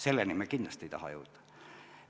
Selleni me kindlasti ei taha jõuda.